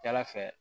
Jala fɛ